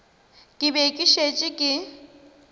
ke be ke šetše ke